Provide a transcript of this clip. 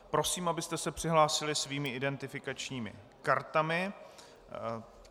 Prosím, abyste se přihlásili svými identifikačními kartami.